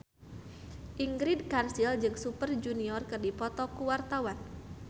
Ingrid Kansil jeung Super Junior keur dipoto ku wartawan